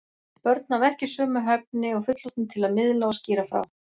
Börn hafa ekki sömu hæfni og fullorðnir til að miðla og skýra frá.